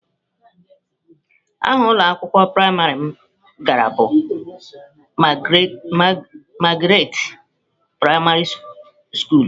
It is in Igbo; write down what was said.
Aha ụlọ akwụkwọ praịmarị m gara bụ Magaratị praịmarị skulu.